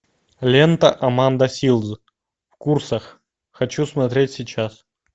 лента аманда силз в курсах хочу смотреть сейчас